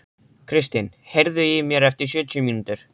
Kristin, heyrðu í mér eftir sjötíu mínútur.